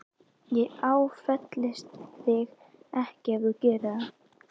Ég áfellist þig ekki ef þú gerir það.